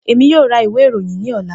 Emi yoo ra iwe iroyin ni ọla.